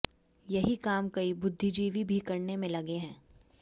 यही काम कई बुद्धिजीवी भी करने में लगे हैं